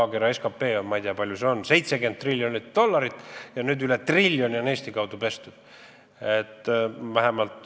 Maakera SKT on, ma ei tea, palju see on, ütleme, et 70 triljonit dollarit, ja nüüd üle triljoni on Eesti kaudu pestud!